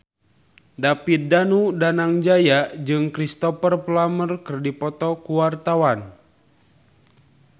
David Danu Danangjaya jeung Cristhoper Plumer keur dipoto ku wartawan